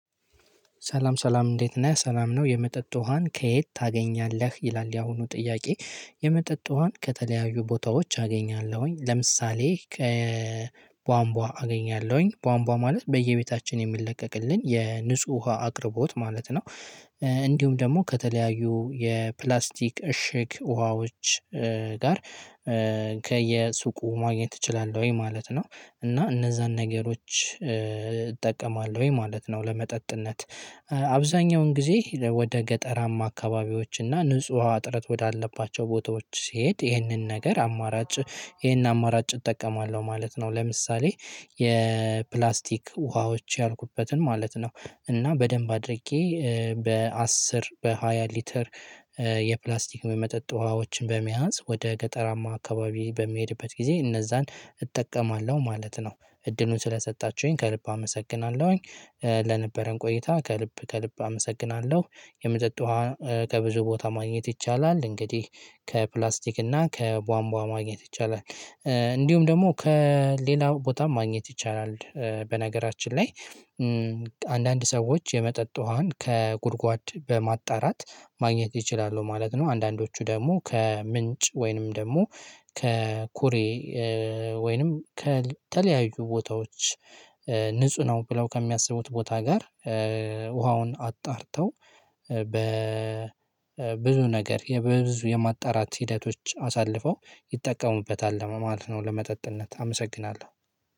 ሰላም ሰላም እንዴት ነህ ሰላም ነው የመጠጥ ውሃን ከየት ታገኛለህ? ይላል ያሁኑ ጥያቄ። የመጠጥ ውሃን ከተለያዩ ቦታዎች አገኛለሁኝ ለምሳሌ ከቧንቧ አገኛለሁኝ ቧንቧ ማለት በየቤታችን የሚለቀቅልን የንጹህ ውሃ አቅርቦት ማለት ነው። እንዲሁም ደግሞ ከተለያዩ የፕላስቲክ እሽግ ውሃዎች ጋር። ከየሱቁ ማግኘት እችላለሁ ወይ ማለት ነው። እና እነዛን ነገሮች እጠቀማለሁ ወይ ማለት ነው ለመጠጥነት። አብዛኛውን ጊዜ ወደ ገጠራማ አካባቢዎች እና ንጹህ ውሃ አጥረት ወዳለባቸው ቦታዎች ሲሄድ ይህንን ነገር አማራጭ ይህን አማራጭ እጠቀማለሁ ማለት ነው። ለምሳሌ የፕላስቲክ ውሃዎች ያልኩበትን ማለት ነው። እና በደንብ አድርጌ በአስር በሃያ ሊትር የፕላስቲክ በመጠጥ ውሃዎችን በመያዝ ወደ ገጠራማ አካባቢ በሚሄድበት ጊዜ እነዛን እጠቀማለሁ ማለት ነው። እድሉን ስለሰጣችሁኝ ከልብ አመሰግናለሁኝ። ለነበረን ቆይታ ከልብ ከልብ አመሰግናለሁ። የመጠጥ ውሃ ከብዙ ቦታ ማግኘት ይቻላል። እንግዲህ ከፕላስቲክ እና ከቧንቧ ማግኘት ይቻላል። እንዲሁም ደግሞ ከሌላ ቦታ ማግኘት ይቻላል በነገራችን ላይ። አንዳንድ ሰዎች የመጠጥ ውሃን ከጉድጓድ በማጣራት ማግኘት ይችላሉ ማለት ነው። አንዳንዶቹ ደግሞ ከምንጭ ወይንም ደግሞ ከኩሬ። ወይንም ከተለያዩ ቦታዎች ንጹህ ነው ብለው ከሚያስቡት ቦታ ጋር። ውሃውን አጣርተው በብዙ ነገር በብዙ የማጣራት ሂደቶች አሳልፈው ይጠቀሙበታል። ለመመልከት ነው ለመጠጥነት አመሰግናለሁ።